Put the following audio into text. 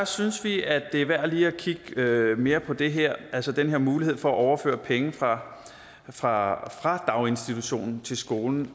synes vi at det er værd lige at kigge mere på det her altså at den her mulighed for at overføre penge fra fra daginstitutionen til skolen